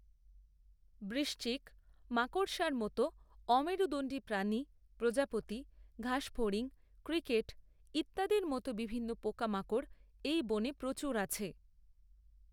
বৃশ্চিক, মাকড়সার মতো অমেরুদণ্ডী প্রাণী, প্রজাপতি, ঘাসফড়িং, ক্রিকেট ইত্যাদির মতো বিভিন্ন পোকামাকড় এই বনে প্রচুর আছে।